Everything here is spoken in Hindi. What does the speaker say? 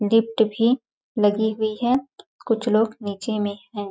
गिफ्ट भी लगी हुई है कुछ लोग नीचे में है।